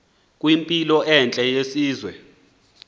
kwimpilo entle yesizwe